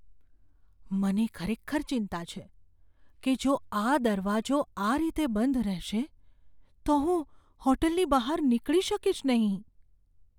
મને ખરેખર ચિંતા છે કે જો આ દરવાજો આ રીતે બંધ રહેશે તો હું હોટલની બહાર નીકળી શકીશ નહીં.